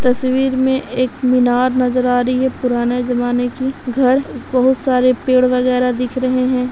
तस्वीर में एक मीनार नजर आ रही हैं पुराना जमाने की घर बहोत सारे पेड़ वैगरह दिख रहे हैं।